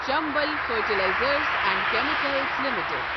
Chambal fertilisers and chemicals limited